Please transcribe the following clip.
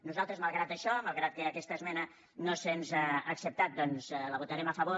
nosaltres malgrat això malgrat que aquesta esmena no se’ns ha acceptat doncs hi votarem a favor